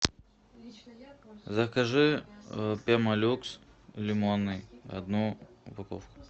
закажи пемолюкс лимонный одну упаковку